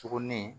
Sugunɛ